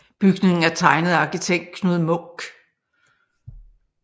Bygningen er tegnet af arkitekt Knud Munk